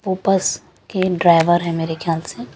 बस के ड्राईवर हैं मेरे ख्याल से --